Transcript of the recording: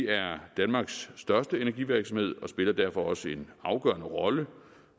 er danmarks største energivirksomhed og spiller derfor også en afgørende rolle